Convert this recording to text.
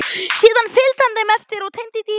Síðan fylgdi hann þeim eftir og teymdi dýrið.